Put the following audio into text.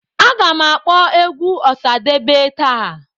Agam akpọ egwu Osadebe taa